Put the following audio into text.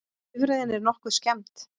Bifreiðin er nokkuð skemmd